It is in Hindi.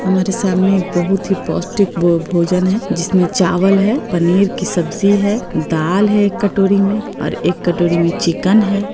हमारे सामने एक बहुत ही पौष्टिक भो-भोजन है जिसमे चावल है पनीर की सब्जी है दाल है एक कटोरी में और एक कटोरी में चिकन है ।